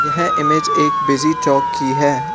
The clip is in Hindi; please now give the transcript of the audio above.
यह इमेज एक बिजी चौक की है।